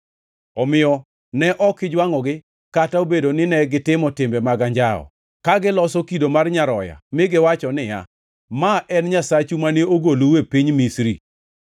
Omiyo ne ok ijwangʼogi kata obedo nine gitimo timbe mag anjawo, ka giloso kido mar nyaroya mi giwacho niya, ‘Ma en nyasachu, mane ogolou e piny Misri.’